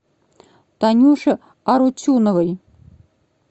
танюше арутюновой